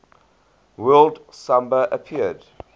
word samba appeared